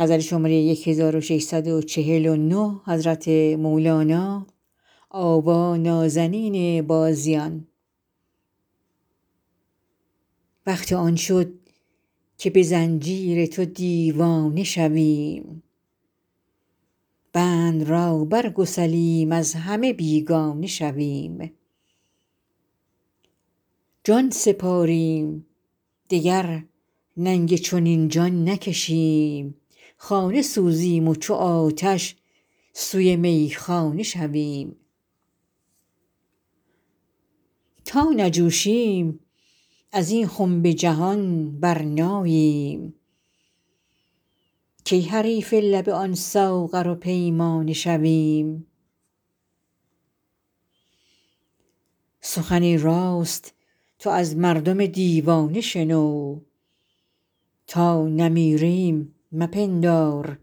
وقت آن شد که به زنجیر تو دیوانه شویم بند را برگسلیم از همه بیگانه شویم جان سپاریم دگر ننگ چنین جان نکشیم خانه سوزیم و چو آتش سوی میخانه شویم تا نجوشیم از این خنب جهان برناییم کی حریف لب آن ساغر و پیمانه شویم سخن راست تو از مردم دیوانه شنو تا نمیریم مپندار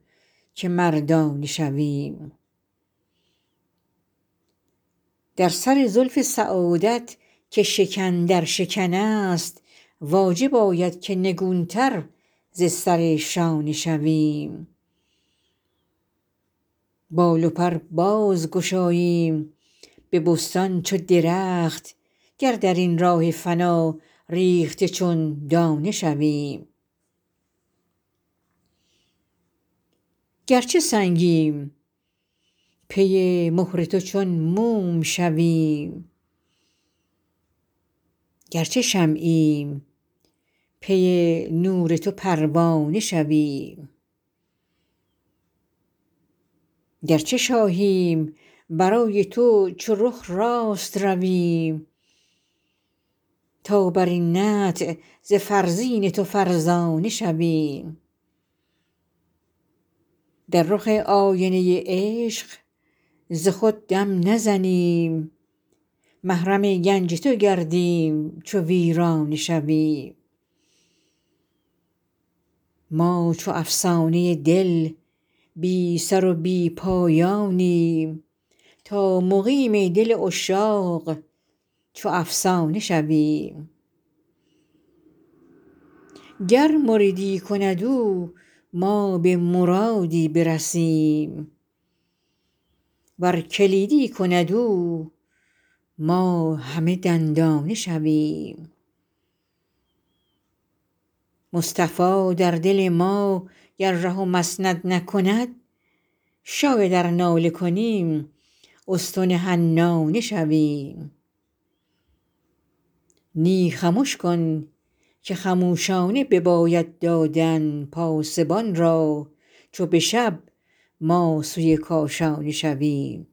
که مردانه شویم در سر زلف سعادت که شکن در شکن است واجب آید که نگونتر ز سر شانه شویم بال و پر باز گشاییم به بستان چو درخت گر در این راه فنا ریخته چون دانه شویم گرچه سنگیم پی مهر تو چون موم شویم گرچه شمعیم پی نور تو پروانه شویم گرچه شاهیم برای تو چو رخ راست رویم تا بر این نطع ز فرزین تو فرزانه شویم در رخ آینه عشق ز خود دم نزنیم محرم گنج تو گردیم چو پروانه شویم ما چو افسانه دل بی سر و بی پایانیم تا مقیم دل عشاق چو افسانه شویم گر مریدی کند او ما به مرادی برسیم ور کلیدی کند او ما همه دندانه شویم مصطفی در دل ما گر ره و مسند نکند شاید ار ناله کنیم استن حنانه شویم نی خمش کن که خموشانه بباید دادن پاسبان را چو به شب ما سوی کاشانه شویم